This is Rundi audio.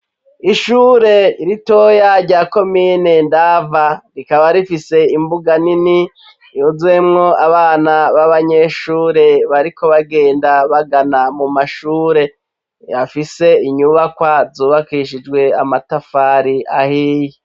Isure ritoya rya komine ndava rikaba rifise imbuga nini yuzuyemwo abana b'abanyeshure bariko bagenda bagana mu mashure. Bafise inyubakwa zubakishijwe amatafari ahiye.